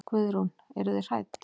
Guðrún: Eruð þið hrædd?